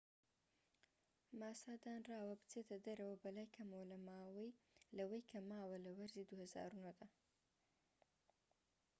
ماسا دانراوە بچێتە دەرەوە بەلای کەمەوە لەوەی کە ماوە لە وەرزی ٢٠٠٩ دا